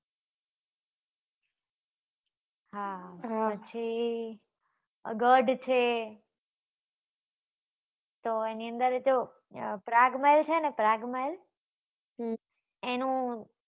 હા પછી ગઢ છે તો એની અંદર જો પ્રાગ મહેલ છે ને પ્રાગ મહેલ હમ એનું